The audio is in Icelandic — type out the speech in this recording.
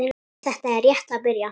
Þetta er rétt að byrja